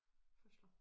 Fødsler